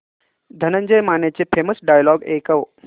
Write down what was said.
धनंजय मानेचे famous dialogue ऐकव